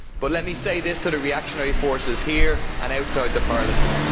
But let me say this to the reactionary forces here and outside Parliament.